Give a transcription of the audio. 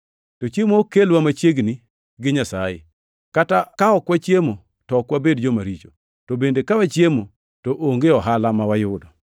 To chiemo ok kelwa machiegni gi Nyasaye. Kata ka ok wachiemo, to ok wabed jomaricho, to bende ka wachiemo, to onge ohala ma wayudo.